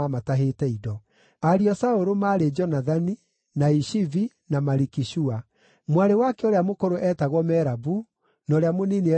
Ariũ a Saũlũ maarĩ Jonathani, na Ishivi, na Maliki-Shua. Mwarĩ wake ũrĩa mũkũrũ eetagwo Merabu, na ũrĩa mũnini eetagwo Mikali.